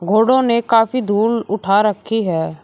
घोड़ों ने काफी धूल उठा रखी है।